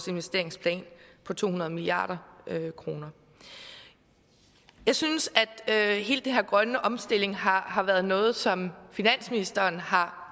investeringsplan på to hundrede milliard kroner jeg synes at hele den her grønne omstilling har har været noget som finansministeren har